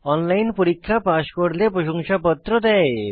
online পরীক্ষা pass করলে প্রশংসাপত্র দেয়